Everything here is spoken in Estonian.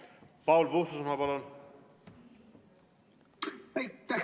Paul Puustusmaa, palun!